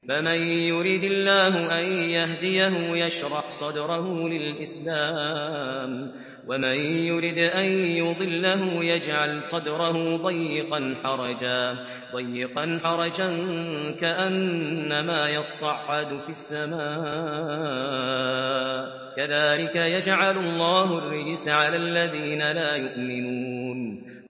فَمَن يُرِدِ اللَّهُ أَن يَهْدِيَهُ يَشْرَحْ صَدْرَهُ لِلْإِسْلَامِ ۖ وَمَن يُرِدْ أَن يُضِلَّهُ يَجْعَلْ صَدْرَهُ ضَيِّقًا حَرَجًا كَأَنَّمَا يَصَّعَّدُ فِي السَّمَاءِ ۚ كَذَٰلِكَ يَجْعَلُ اللَّهُ الرِّجْسَ عَلَى الَّذِينَ لَا يُؤْمِنُونَ